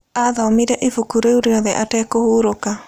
Aathomire ibuku rĩu rĩothe atekũhuroka.